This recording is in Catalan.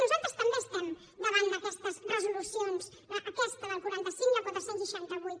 nosaltres també estem davant d’aquestes resolucions d’aquesta del quaranta cinc i de la quatre cents i seixanta vuit